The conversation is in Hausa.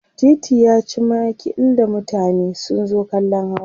titi yaci makil da mutane sun zo kallan hawa